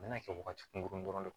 A bɛna kɛ wagati kunkurunin dɔrɔn de ye